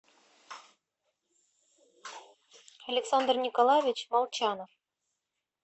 александр николаевич молчанов